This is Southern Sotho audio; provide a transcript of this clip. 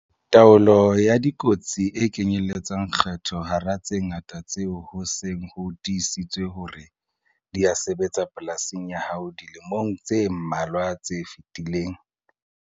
Taolo ya dikotsi e kenyeletsa kgetho hara tse ngata tseo ho seng ho tiisitswe hore di a sebetsa polasing ya hao dilemong tse mmalwa tse fetileng.